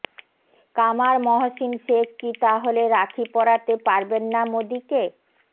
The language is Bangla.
কামার মহসিন শেখ কি তাহলে রাখি পরাতে পারবেন না মোদীকে